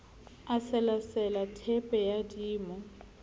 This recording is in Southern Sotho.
a selasela theepe ya dimo